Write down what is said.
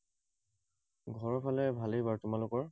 ঘৰৰফালে ভালেই বাৰু, তোমালোকৰ?